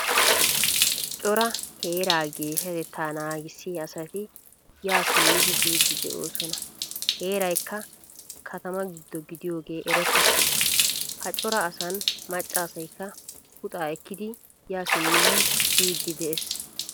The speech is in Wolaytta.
Cora heeraa geeshshatetta naagisiyaa asati yaa simmidi biidi deosona. Heeraykka katama gido gidiyoge erettees. Ha cora asan macca asaykka puxa ekkidi yaa simmidi biidi de'ees.